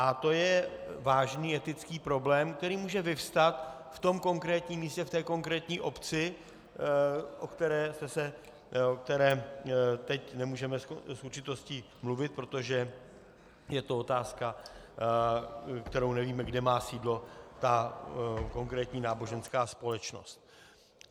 A to je vážný etický problém, který může vyvstat v tom konkrétním místě, v té konkrétní obci, o které teď nemůžeme s určitostí mluvit, protože je to otázka, kterou nevíme, kde má sídlo ta konkrétní náboženská společnost.